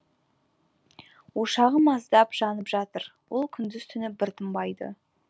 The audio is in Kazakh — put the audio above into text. ошағы маздап жанып жатыр ол күндіз түні бір тынбайды